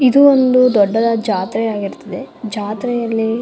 ಇದು ಒಂದ್ ದೊಡ್ಡದಾದ ಜಾತ್ರೆ ಆಗಿರುತ್ತದೆ ಜಾತ್ರೆಯಲ್ಲಿ --